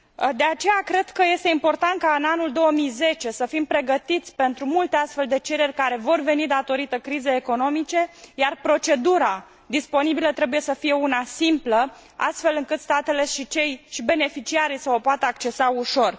De aceea, cred că este important ca în anul 2010 să fim pregătiți pentru multe astfel de cereri care vor veni datorită crizei economice, iar procedura disponibilă trebuie să fie una simplă, astfel încât statele și beneficiarii să o poată accesa ușor.